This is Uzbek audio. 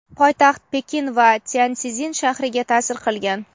poytaxt Pekin va Tyanszin shahriga ta’sir qilgan.